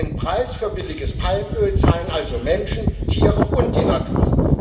Den Preis für billiges Palmöl zahlen also Menschen, Tiere und die Natur.